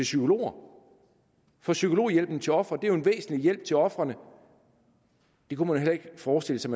psykologer for psykologhjælpen til ofre er jo en væsentlig hjælp til ofrene det kunne man heller ikke forestille sig